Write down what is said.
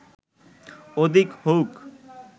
অধিক হউক